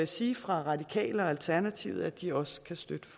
sige fra radikale venstre og alternativet at de også kan støtte